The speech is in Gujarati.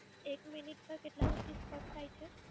એક મિનિટ નો કેટલા રૂપિસ Cut થાય છે?